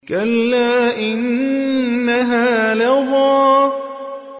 كَلَّا ۖ إِنَّهَا لَظَىٰ